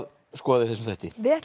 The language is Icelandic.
skoða í þessum þætti við ætlum að